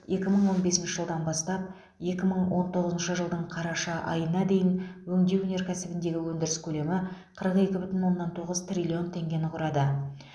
екі мың он бесінші жылдан бастап екі мың он тоғызыншы жылдың қараша айына дейін өңдеу өнеркәсібіндегі өндіріс көлемі қырық екі бүтін оннан тоғыз триллион теңгені құрады